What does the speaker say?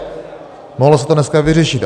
Mohlo se to dneska vyřešit.